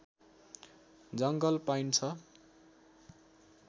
जङ्गल पाइन्छ